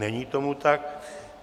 Není tomu tak.